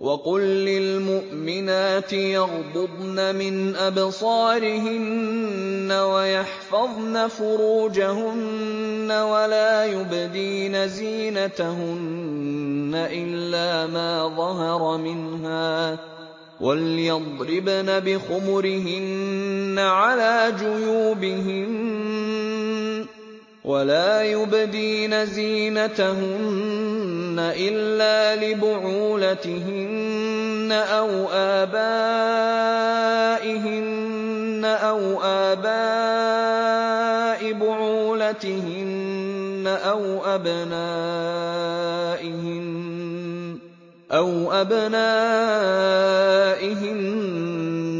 وَقُل لِّلْمُؤْمِنَاتِ يَغْضُضْنَ مِنْ أَبْصَارِهِنَّ وَيَحْفَظْنَ فُرُوجَهُنَّ وَلَا يُبْدِينَ زِينَتَهُنَّ إِلَّا مَا ظَهَرَ مِنْهَا ۖ وَلْيَضْرِبْنَ بِخُمُرِهِنَّ عَلَىٰ جُيُوبِهِنَّ ۖ وَلَا يُبْدِينَ زِينَتَهُنَّ إِلَّا لِبُعُولَتِهِنَّ أَوْ آبَائِهِنَّ أَوْ آبَاءِ بُعُولَتِهِنَّ أَوْ أَبْنَائِهِنَّ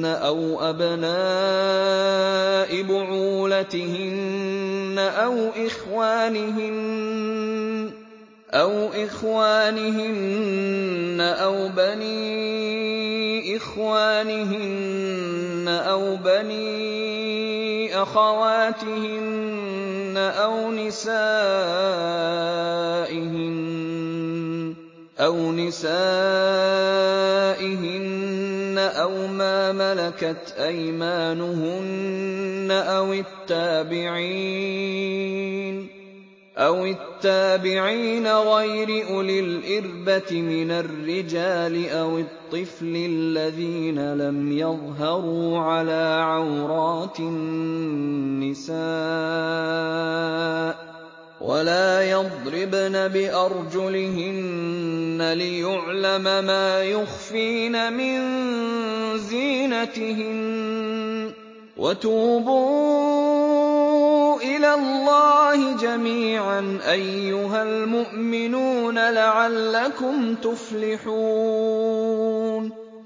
أَوْ أَبْنَاءِ بُعُولَتِهِنَّ أَوْ إِخْوَانِهِنَّ أَوْ بَنِي إِخْوَانِهِنَّ أَوْ بَنِي أَخَوَاتِهِنَّ أَوْ نِسَائِهِنَّ أَوْ مَا مَلَكَتْ أَيْمَانُهُنَّ أَوِ التَّابِعِينَ غَيْرِ أُولِي الْإِرْبَةِ مِنَ الرِّجَالِ أَوِ الطِّفْلِ الَّذِينَ لَمْ يَظْهَرُوا عَلَىٰ عَوْرَاتِ النِّسَاءِ ۖ وَلَا يَضْرِبْنَ بِأَرْجُلِهِنَّ لِيُعْلَمَ مَا يُخْفِينَ مِن زِينَتِهِنَّ ۚ وَتُوبُوا إِلَى اللَّهِ جَمِيعًا أَيُّهَ الْمُؤْمِنُونَ لَعَلَّكُمْ تُفْلِحُونَ